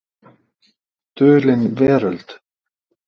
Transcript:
Dulin veröld.